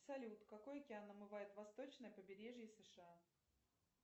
салют какой океан омывает восточное побережье сша